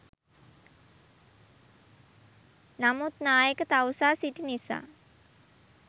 නමුත් නායක තවුසා සිටි නිසා